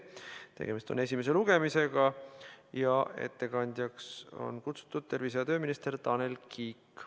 Tegemist on esimese lugemisega ja ettekandjaks on kutsutud tervise- ja tööminister Tanel Kiik.